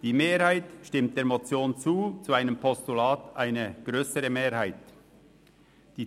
Die Mehrheit stimmt der Motion zu, eine grössere Mehrheit dem Postulat.